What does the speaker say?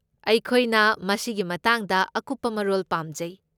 ꯑꯩꯈꯣꯏꯅ ꯃꯁꯤꯒꯤ ꯃꯇꯥꯡꯗ ꯑꯀꯨꯞꯄ ꯃꯔꯣꯜ ꯄꯥꯝꯖꯩ꯫